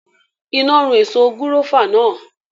Iná run èso gúrófà náà